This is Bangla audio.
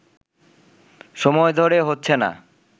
সময় ধরে হচ্ছে না